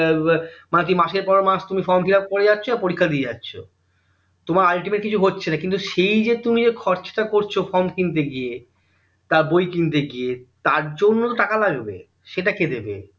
প্রতি মাসের পর মাস তুমি form fillup করেই যাচ্ছ আর পরীক্ষা দিয়ে যাচ্ছ তোমার ultimate কিছু হচ্ছেনা কিন্তু সেই যে তুমি খরচাটা করছো form কিনতে গিয়ে তা বই কিনতে গিয়ে তার জন্য তো টাকা লাগবে সেটা কে দেবে